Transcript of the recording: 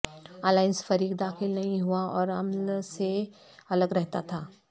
alliance فریق داخل نہیں ہوا اور عمل سے الگ رہتا تھا